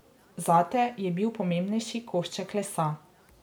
Zate je bil pomembnejši košček lesa.